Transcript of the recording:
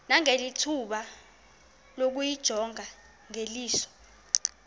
nangethuba lokuyijonga ngeliso